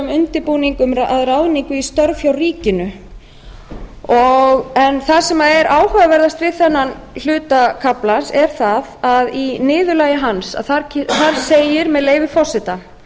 undirbúning að ráðningu í störf hjá ríkinu það sem er áhugaverðast við henni hluta kaflans er það að í niðurlagi hans segir með leyfi forseta